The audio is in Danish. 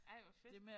Ej hvor fedt